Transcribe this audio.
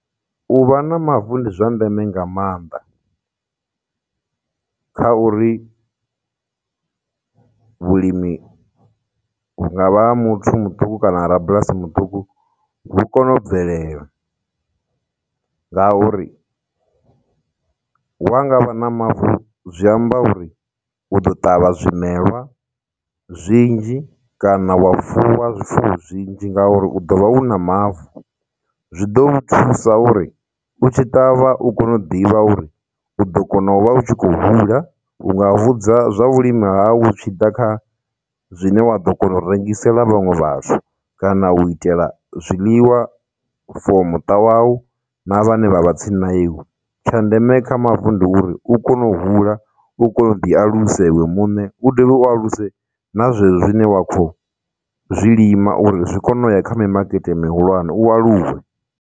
U vha na mavu ndi zwa ndeme nga maanḓa, kha uri vhulimi hunga vha ha muthu muṱuku kana ha rabulasi muṱuku hu kone u bvelela, ngauri wa nga vha na mavu zwi amba uri u ḓo ṱavha zwimelwa zwinzhi kana wa fuwa zwifuwo zwinzhi ngauri u ḓo vha u na mavu, zwi ḓo u thusa uri u tshi ṱavha u kone u ḓivha uri u ḓo kona u vha u tshi khou hula, hunga hudza zwa u lima hau zwi tshi ḓa kha zwine wa ḓo kona u rengisela vhaṅwe vhathu, kana u itela zwiḽiwa for muṱa wawu na vhane vha vha tsini na iwe. Tsha ndeme kha mavu ndi uri u kone u hula, u kone u ḓi alusa iwe muṋe, u dovhe u aluse na zwezwo zwine wa khou zwilima uri zwi kone u ya kha mimakete mihulwane, u aluwe.